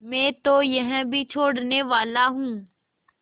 मैं तो यह भी छोड़नेवाला हूँ